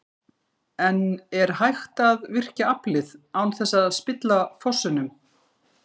En er hægt að virkja aflið án þess að spilla fossunum?